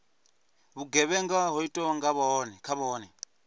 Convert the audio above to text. vhugevhenga ho itwaho kha vhone